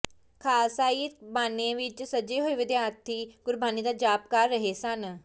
ਖਾਲਸਾਈ ਬਾਣੇ ਵਿੱਚ ਸਜੇ ਹੋਏ ਵਿਦਿਆਰਥੀ ਗੁਰਬਾਣੀ ਦਾ ਜਾਪ ਕਰ ਰਹੇ ਸਨ